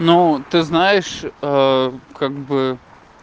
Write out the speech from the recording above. ну ты знаешь ээ как бы